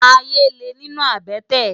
Àyé lé ninú àbètè